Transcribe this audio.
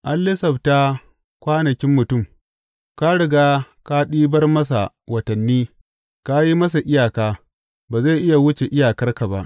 An lissafta kwanakin mutum; ka riga ka ɗibar masa watanni, ka yi masa iyaka, ba zai iya wuce iyakar ba.